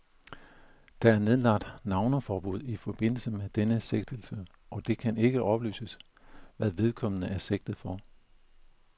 Der er nedlagt navneforbud i forbindelse med denne sigtelse, og det kan ikke oplyses, hvad vedkommende er sigtet for.